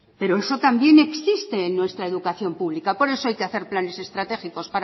pero eso también existen en nuestra educación pública por eso hay que hacer planes estratégicos